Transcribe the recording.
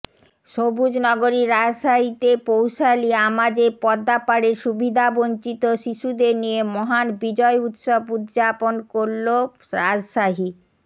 সবুজ নগরী রাজশাহীতে পৌষালী আমাজে পদ্মাপাড়ের সুবিধাবঞ্চিত শিশুদের নিয়ে মহান বিজয় দিবস উযযাপন করলো রাজশাহী